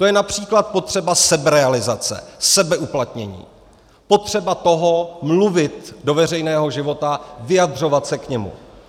To je například potřeba seberealizace, sebeuplatnění, potřeba toho mluvit do veřejného života, vyjadřovat se k němu.